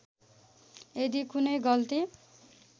यदि कुनै गल्ती